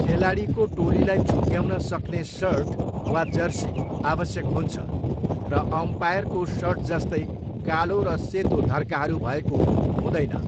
खेलाडीको टोलीलाई छुट्याउन सक्ने सर्ट वा जर्सी आवश्यक हुन्छ र अम्पायरको सर्टजस्तै कालो र सेतो धर्काहरू भएको हुँदैन।